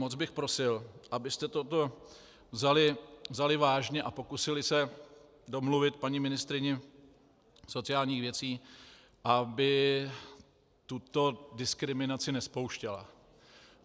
Moc bych prosil, abyste toto vzali vážně a pokusili se domluvit paní ministryni sociálních věcí, aby tuto diskriminaci nespouštěla.